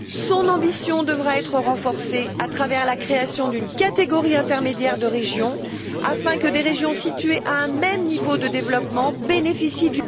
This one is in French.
son ambition devra être renforcée, à travers la création d'une catégorie intermédiaire de régions, afin que des régions situées à un même niveau de développement bénéficient